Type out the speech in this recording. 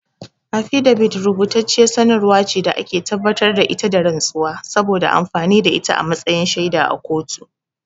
Afidabit rubutacciyar sanarwar ce da ake tabbatar da ita da rantsuwa, saboda amfani da ita a matsayin shaida a kotu.